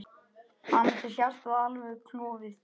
Annars er hjartað alveg klofið.